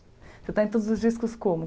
Você está em todos os discos como?